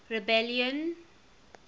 rebellion